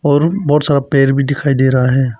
और बहुत सारा पेर भी दिखाई दे रहा है।